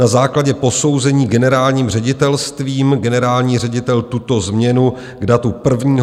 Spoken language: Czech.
Na základě posouzení generálním ředitelstvím generální ředitel tuto změnu k datu 1. 1. 2023 schválil.